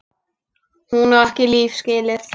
Hún á ekki líf skilið.